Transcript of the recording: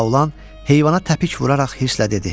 Laolan heyvana təpik vuraraq hirsle dedi: